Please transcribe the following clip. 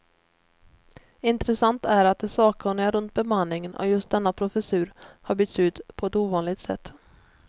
Intressant är att de sakkunniga runt bemanningen av just denna professur har bytts ut på ett ovanligt sätt.